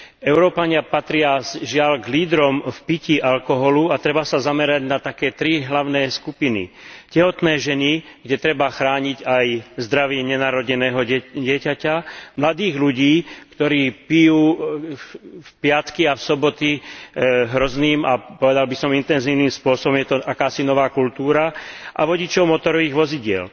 Európania patria, žiaľ, k lídrom v pití alkoholu a treba sa zamerať na také tri hlavné skupiny tehotné ženy, kde treba chrániť aj zdravie nenarodeného dieťaťa, mladých ľudí, ktorí pijú v piatky a soboty hrozným a, povedal by som, intenzívnym spôsobom je to akási nová kultúra, a vodičov motorových vozidiel.